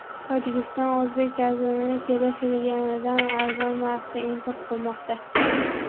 Tojikiston o‘zbek gazini kelishilganidan arzon narxda import qilmoqda.